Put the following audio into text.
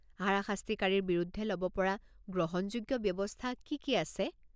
হাৰাশাস্তিকাৰীৰ বিৰুদ্ধে ল'ব পৰা গ্ৰহণযোগ্য ব্যৱস্থা কি কি আছে?